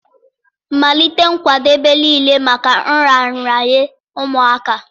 Malite nkwadebe niile maka nraranye ụmụaka